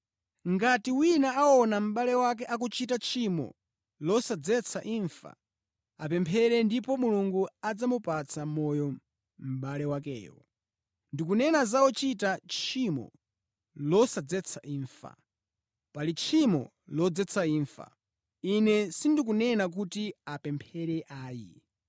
Ngati wina aona mʼbale wake akuchita tchimo losadzetsa imfa, apemphere ndipo Mulungu adzamupatsa moyo mʼbale wakeyo. Ndikunena za ochita tchimo losadzetsa imfa. Pali tchimo lodzetsa imfa. Ine sindikunena kuti apemphere ayi.